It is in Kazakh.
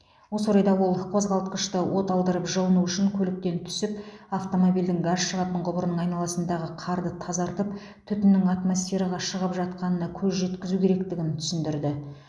осы орайда ол қозғалтқышты оталдырып жылыну үшін көліктен түсіп автомобильдің газ шығатын құбырының айналасындағы қарды тазартып түтіннің атмосфераға шығып жатқанына көз жеткізу керектігін түсіндірді